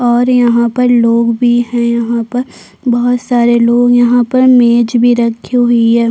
और यहाँ पर लोग भी हैं यहाँ पर बहुत सारे लोग यहाँ पर मैज भी रखी हुई है।